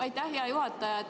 Aitäh, hea juhataja!